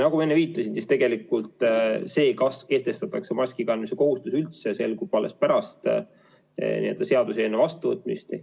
Nagu ma enne viitasin, tegelikult see, kas kehtestatakse maskikandmise kohustus üldse, selgub alles pärast seaduseelnõu vastuvõtmist.